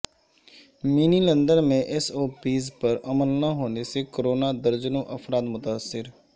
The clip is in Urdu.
منی لندن میں ایس او پیز پر عمل نہ ہونے سے کورونا درجنوں افراد متاثر